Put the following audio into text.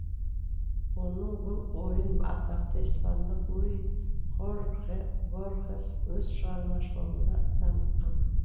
оның бұл ойын атақты испандық луи хорхе борхес өз шығармашылығында дамытқан